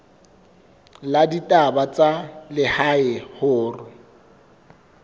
la ditaba tsa lehae hore